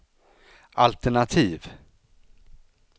altenativ